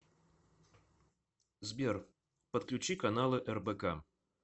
сбер подключи каналы рбк